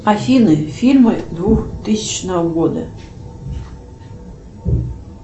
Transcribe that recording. афина фильмы двухтысячного года